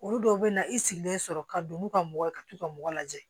Olu dɔw bɛ na i sigilen sɔrɔ ka don n'u ka mɔgɔ ye ka t'u ka mɔgɔ lajɛ